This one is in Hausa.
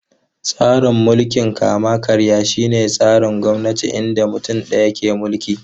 Tsarin mulkin kama-karya shine tsarin gwamnati inda mutum ɗaya ke mulki.